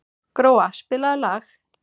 Gróa, spilaðu lag.